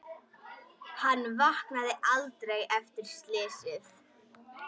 Hann vaknaði aldrei eftir slysið.